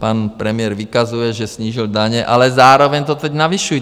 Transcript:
Pan premiér vykazuje, že snížil daně, ale zároveň to teď navyšují.